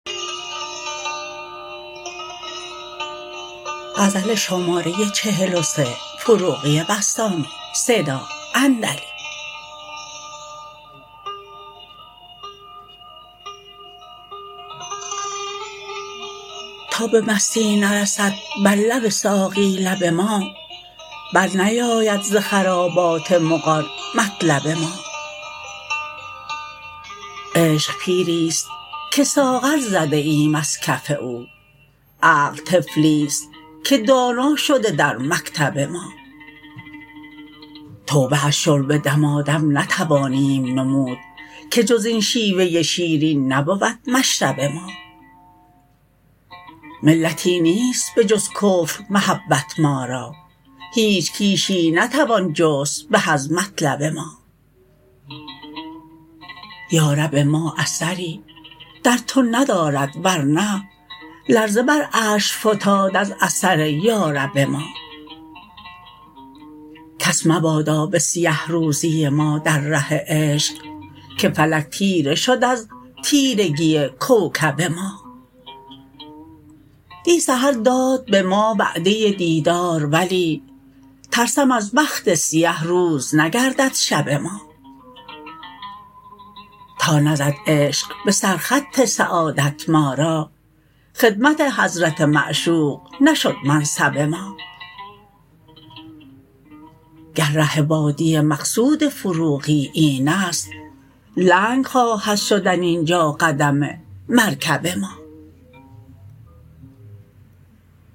تا به مستی نرسد بر لب ساقی لب ما بر نیاید ز خرابات مغان مطلب ما عشق پیری است که ساغر زده ایم از کف او عقل طفلی است که دانا شده در مکتب ما توبه از شرب دمادم نتوانیم نمود که جز این شیوه شیرین نبود مشرب ما ملتی نیست به جز کفر محبت ما را هیچ کیشی نتوان جست به از مطلب ما یا رب ما اثری در تو ندارد ورنه لرزه بر عرش فتاد از اثر یا رب ما کس مبادا به سیه روزی ما در ره عشق که فلک تیره شد از تیرگی کوکب ما دی سحر داد به ما وعده دیدار ولی ترسم از بخت سیه روز نگردد شب ما تا نزد عشق به سر خط سعادت ما را خدمت حضرت معشوق نشد منصب ما گر ره وادی مقصود فروغی این است لنگ خواهد شدن اینجا قدم مرکب ما